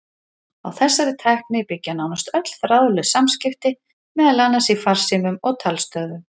Á þessari tækni byggja nánast öll þráðlaus samskipti, meðal annars í farsímum og talstöðvum.